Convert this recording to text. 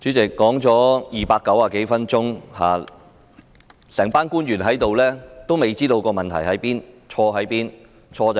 主席，說了290多分鐘，會議廳內全部官員仍未知道問題何在、錯在哪裏。